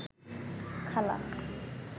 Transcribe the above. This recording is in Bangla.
খালা